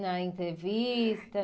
Na entrevista?